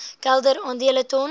kelder aandele ton